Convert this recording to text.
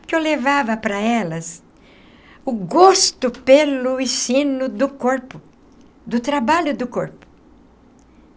Porque eu levava para elas o gosto pelo ensino do corpo, do trabalho do corpo.